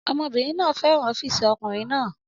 Ọmọbìnrin náà fẹ́ràn ọ́fíìsì ọkùnrin náà